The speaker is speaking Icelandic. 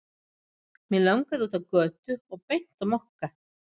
Mig langaði út á götu og beint á Mokka.